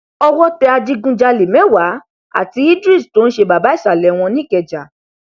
owó tẹ adigunjalè mẹwàá àti idris tó ń ṣe baba ìsàlẹ wọn nìkẹjà